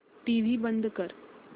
TV बंद कर